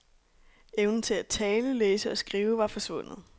Evnen til at tale, læse og skrive var forsvundet.